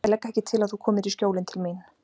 Ég legg ekki til að þú komir í Skjólin til mín.